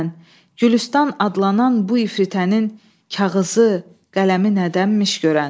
Gülüstan adlanan bu ifritənin kağızı, qələmi nədənmiş görən?